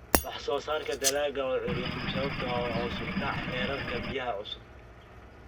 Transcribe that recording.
Wax-soo-saarka dalagga oo curyaamiya sababtoo ah hoos u dhaca heerarka biyaha cusub.